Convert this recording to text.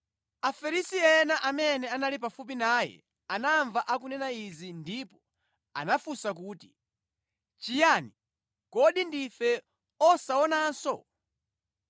Afarisi ena amene anali pafupi naye anamva akunena izi ndipo anafunsa kuti, “Chiyani? Kodi ndife osaonanso?”